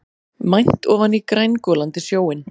Mænt ofan í grængolandi sjóinn.